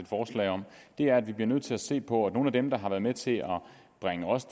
det er at vi bliver nødt til at se på på nogle af dem der har været med til at bringe os